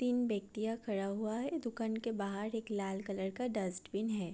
तीन व्यक्तियाँ खड़ा हुआ है दुकान के बाहर एक लाल कलर का डस्टबिन है।